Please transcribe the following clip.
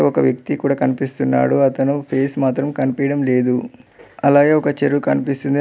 ఒక వ్యక్తి కూడా కనిపిస్తున్నాడు అతను ఫేస్ మాత్రం కనిపియడం లేదు అలాగే ఒక చెరువు కనిపిస్తుంది ఆ--